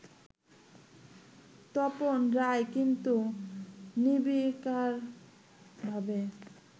তপন রায় কিন্তু নির্বিকারভাবে